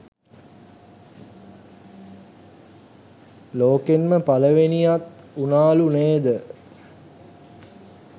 ලෝකෙන්ම පළවෙනියත් වුනාලු නේද.